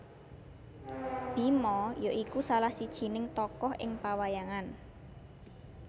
Bima ya iku salah sijining tokoh ing pawayangan